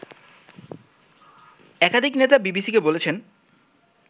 একাধিক নেতা বিবিসিকে বলেছেন